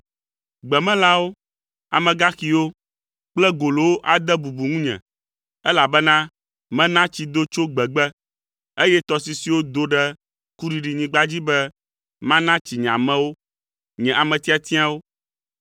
Gbemelãwo, amegaxiwo kple golowo ade bubu ŋunye, elabena mena tsi do tso gbegbe, eye tɔsisiwo do ɖe kuɖiɖinyigba dzi be mana tsi nye amewo, nye ame tiatiawo,